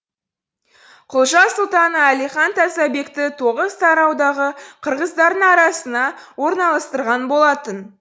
құлжа сұлтаны әлихан тазабекті тоғызтараудағы қырғыздардың арасына орналастырған болатын